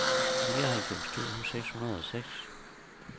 nioghalvfems tusind seks hundrede og seks